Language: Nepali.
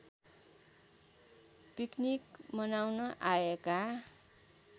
पिक्निक मनाउन आएका